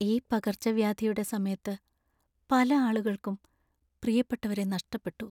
ഈ പകർച്ചവ്യാധിയുടെ സമയത്ത്പല ആളുകൾക്കും പ്രിയപ്പെട്ടവരെ നഷ്ടപ്പെട്ടു.